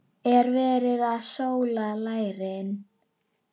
Er verið að sóla lærin?